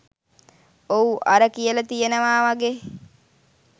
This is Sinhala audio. ඔව් අර කියලා තියෙනවා වගේ